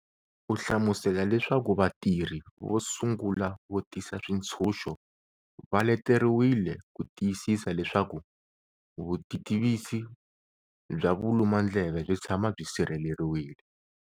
U hlamusela leswaku vatirhi vo sungula vo tisa switshunxo va leteriwile ku tiyisisa leswaku vutitivisi bya valumandleve byi tshama byi sirheleriwile.